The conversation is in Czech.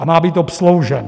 A má být obsloužen.